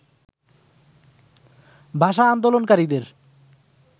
ভাষা আন্দোলনকারীদের